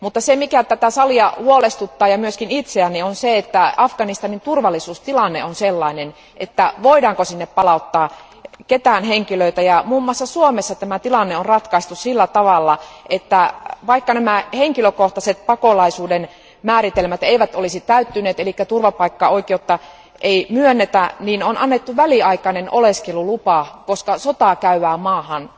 Se, mikä tätä salia ja minua huolestuttaa on se, että Afganistanin turvallisuustilanne on sellainen, ettemme tiedä, voidaanko sinne palauttaa ketään henkilöä. Muun muassa Suomessa tämä tilanne on ratkaistu sillä tavalla, että vaikka henkilökohtaiset pakolaisuuden määritelmät eivät olisi täyttyneet, eli turvapaikkaoikeutta ei myönnetä, niin on annettu väliaikainen oleskelulupa, koska sotaa käyvään maahan